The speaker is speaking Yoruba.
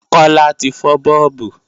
Kọ́lá ti fọ́ bọ́ọ̀bù